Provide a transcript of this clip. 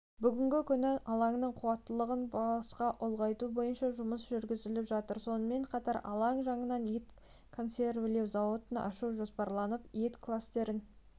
бүгінгі күні алаңның қуаттылығын басқа ұлғайту бойынша жұмыс жүргізіліп жатыр сонымен қатар алаң жанынан ет консервілеу зауытын ашу жоспарланып ет кластерін